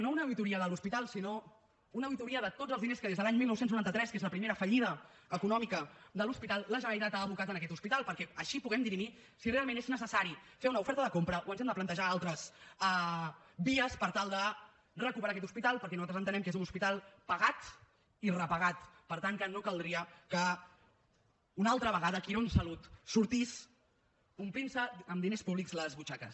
no una auditoria de l’hospital sinó una auditoria de tots els diners que des de l’any dinou noranta tres que és la primera fallida econòmica de l’hospital la generalitat ha abocat en aquest hospital perquè així puguem dirimir si realment és necessari fer una oferta de compra o ens hem de plantejar altres vies per tal de recuperar aquest hospital perquè nosaltres entenem que és un hospital pagat i repagat per tant que no caldria que una altra vegada quirónsalud sortís omplint se amb diners públics les butxaques